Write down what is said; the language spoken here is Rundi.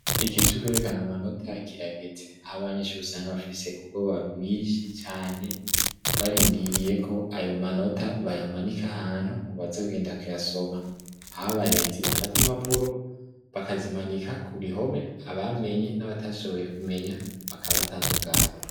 Ikihe cukwerekana manota ya kiragezi aho abanyeshure usanga bafise ubwo babwise cane barindiriye ko ayo manota bayamanika ahantu mu bazogenda kuyasoma aho abarezi bafate imapuro bakazimanika ku bihome abamenye n'abatashoboye kumenya bakabatandukanya.